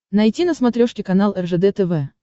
найти на смотрешке канал ржд тв